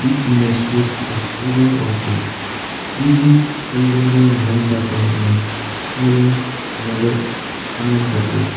this image shows the exterior of a C_G kalyana mandapam in stalin nagar anantapur.